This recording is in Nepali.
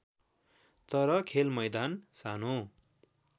तर खेलमैदान सानो